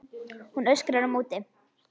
Hún öskrar á móti.